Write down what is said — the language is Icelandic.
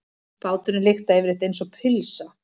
Báturinn lyktaði yfirleitt einsog pylsa.